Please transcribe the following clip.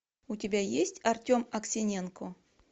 у тебя есть артем аксененко